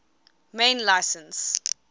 main license